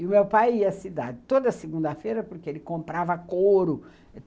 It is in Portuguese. E o meu pai ia à cidade toda segunda-feira porque ele comprava couro.